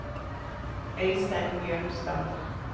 Øistein Bjørnstad